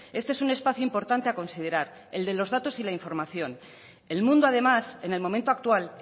este es un espacio importante a considerar el de los datos y la información el mundo además en el momento actual